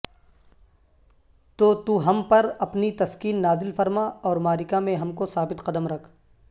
تو تو ہم پر اپنی تسکین نازل فرما اورمعرکہ میں ہم کو ثابت قدم رکھ